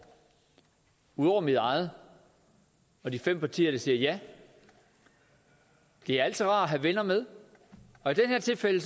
ud over mit eget og de fem partier der siger ja det er altid rart at have venner med og i det her tilfælde